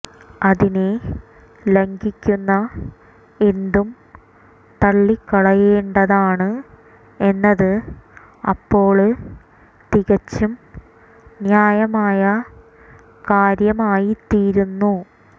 അതിനെ ലംഘിക്കുന്ന എന്തും തള്ളിക്കളയേണ്ടതാണ് എന്നത് അപ്പോള് തികച്ചും ന്യായമായ കാര്യമായിത്തീരുന്നു